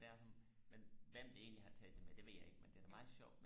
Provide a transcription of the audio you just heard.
det er sådan men hvem der egentlig har taget det med det ved jeg ikke men det er da meget sjovt